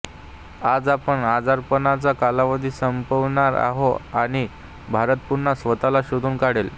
आज आपण आजारपणाचा कालावधी संपविणार आहो आणि भारत पुन्हा स्वतःला शोधून काढेल